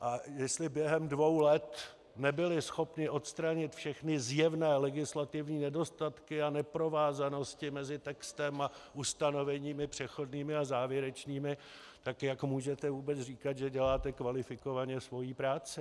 A jestli během dvou let nebyli schopni odstranit všechny zjevné legislativní nedostatky a neprovázanosti mezi textem a ustanoveními přechodnými a závěrečnými, tak jak můžete vůbec říkat, že děláte kvalifikovaně svoji práci?